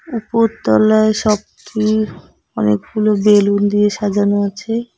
উপর তলায় শপটি অনেকগুলো বেলুন দিয়ে সাজানো আছে।